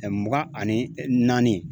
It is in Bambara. Mugan ani naani ye.